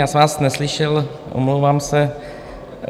Já jsem vás neslyšel, omlouvám se.